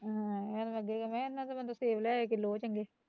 ਆਹੋ ਮੈਂਨੂੰ ਲੱਗੇ ਮੈਂ ਕਿਹਾਂ ਇਹਦੇ ਨਾਲੋਂ ਤਾਂ ਬੰਦਾ ਸੇਬ ਲੈ ਆਏ ਕਿਲੋ ਓਹ ਚੰਗੇ